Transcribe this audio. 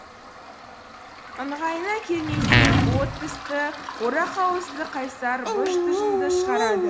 ыңғайына келмесең от тісті орақ ауызды қайсар быж тыжыңды шығарады